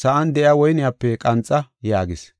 sa7an de7iya woyniyape qanxa” yaagis.